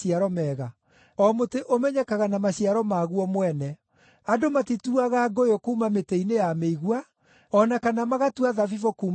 O mũtĩ ũmenyekaga na maciaro maguo mwene. Andũ matituaga ngũyũ kuuma mĩtĩ-inĩ ya mĩigua, o na kana magatua thabibũ kuuma congʼe-inĩ.